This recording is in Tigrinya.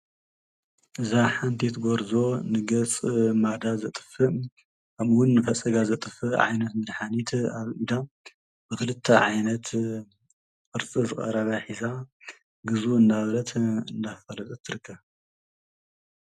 እዛ ሓንቲት ጐርዞ ንገስ ማዳ ዘጥፍእ ኣምውን ፈሰጋ ዘጥፍ ዓይነት ምድኃኒት ኣልኢዳ ብኽልተ ዓይነት ዕርጢ ዘቀራባኂዛ ግዙ እናብለት እንዳፈት ትርከብ።